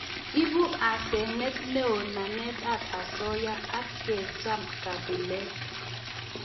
Ibu hasenet neo namet ab asoya ak kecham kabilet